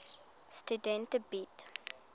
studente bied